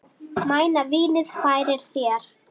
Mæna vínið færir þér.